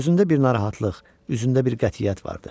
Gözündə bir narahatlıq, üzündə bir qətiyyət vardı.